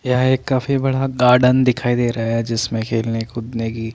यह एक काफी बड़ा गार्डन दिखाई दे रा है जिसमें खेलने खुदने की --